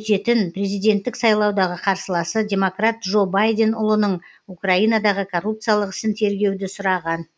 өтетін президенттік сайлаудағы қарсыласы демократ джо байден ұлының украинадағы коррупциялық ісін тергеуді сұраған